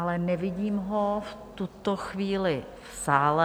Ale nevidím ho v tuto chvíli v sále.